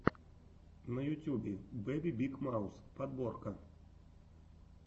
на ютюбе бэби биг маус подборка